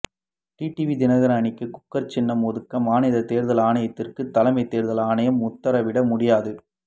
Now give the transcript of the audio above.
TTV Dhinakaran அணிக்கு cooker சின்னத்தை ஒதுக்க மாநில தேர்தல் ஆணையத்திற்கு தலைமை தேர்தல் ஆணையம் உத்தரவிட முடியாது